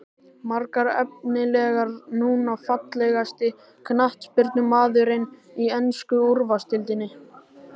Margir efnilegir núna Fallegasti knattspyrnumaðurinn í ensku úrvalsdeildinni?